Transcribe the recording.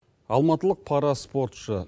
алматылық пара спортшы